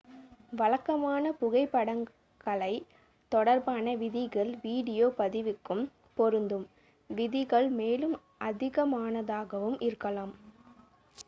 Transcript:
வழக்கமான புகைப்படக்கலை தொடர்பான விதிகள் வீடியோ பதிவுக்கும் பொருந்தும் விதிகள் மேலும் அதிகமானதாகவும் இருக்கலாம்